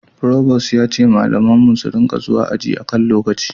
Provost ya ce malaman mu su ringa zuwa aji a kan lokaci